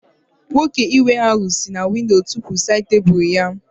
Nwoke iwe ahụ si na windo tụpu sáyid tebụlu ya